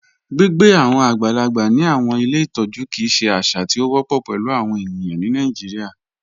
Gbigbe awọn agbàlàgbà ni awọn ilẹ̀ ìtọ̀jú kíi ṣè àṣà tí o wọpọ pẹ̀lú awọn ènìyàn Nàìjíríà.